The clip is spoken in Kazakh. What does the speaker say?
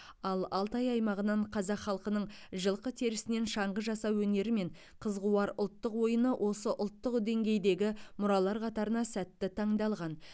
ал алтай аймағынан қазақ халқының жылқы теріснен шаңғы жасау өнері мен қыз қуар ұлттық ойыны осы ұлттық деңгейдегі мұралар қатарына сәтті таңдалған